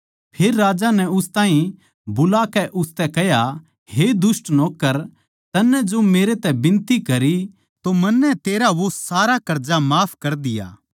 फेर राजा नै उस ताहीं बुलाकै उसतै कह्या हे दुष्ट नौक्कर तन्नै जो मेरै तै बिनती करी तो मन्नै तेरा वो सारा कर्जा माफ कर दिया